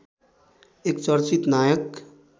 एक चर्चित नायक